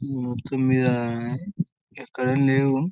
ఆ తుమ్మెద ఇక్కడేం లేవు.